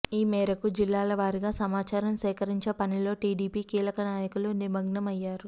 ఈ మేరకు జిల్లాలవారీగా సమాచారం సేకరించే పనిలో టీడీపీ కీలక నాయకులు నిమగ్నం అయ్యారు